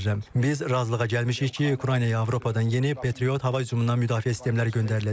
Biz razılığa gəlmişik ki, Ukraynaya Avropadan yeni Patriot hava hücumundan müdafiə sistemləri göndəriləcək.